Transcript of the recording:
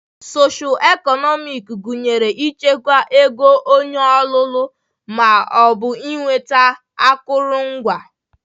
Socio eknomic gụnyere ịchịkwa ego onye ọlụlụ ma ọ bụ ịnweta akụrụngwa